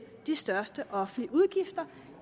de største offentlige udgifter